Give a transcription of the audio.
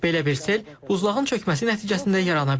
Belə bir sel buzlağın çökməsi nəticəsində yarana bilər.